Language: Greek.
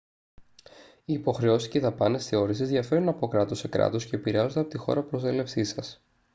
οι υποχρεώσεις και οι δαπάνες θεώρησης διαφέρουν από κράτος σε κράτος και επηρεάζονται από τη χώρα προέλευσής σας